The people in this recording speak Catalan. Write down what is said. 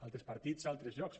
altres partits a altres llocs